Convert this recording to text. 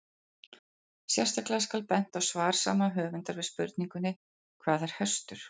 Sérstaklega skal bent á svar sama höfundar við spurningunni Hvað er hestur?